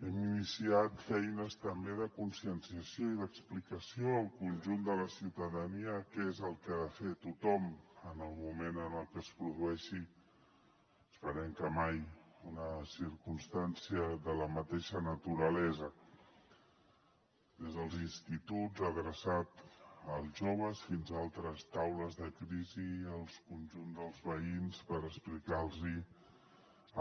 hem iniciat feines també de conscienciació i d’explicació al conjunt de la ciutadania què és el que ha de fer tothom en el moment en el que es produeixi esperem que mai una circumstància de la mateixa naturalesa des dels instituts adreçat als joves fins a altres taules de crisi i el conjunt dels veïns per explicar los